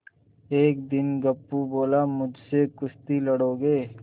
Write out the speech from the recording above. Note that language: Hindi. एक दिन गप्पू बोला मुझसे कुश्ती लड़ोगे